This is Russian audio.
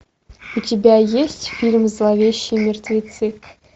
у тебя есть фильм зловещие мертвецы